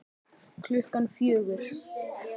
Klukkan fjögur?